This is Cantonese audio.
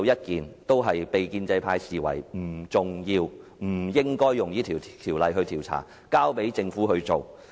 上述事件建制派認為都不重要，不應引用《條例》展開調查，只需交給政府跟進。